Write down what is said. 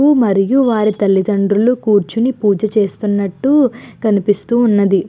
ఊ మరియు వారి తల్లితండ్రులు కూర్చుని పూజ చేస్తునట్టు కనిపిస్తూ ఉన్నది.